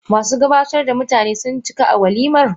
Masu gabatar da mutane, sun cika a walimar?